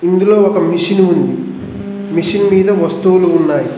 ఇందులో ఒక మెషిను ఉంది మెషిన్ మీద వస్తువులు ఉన్నాయ్.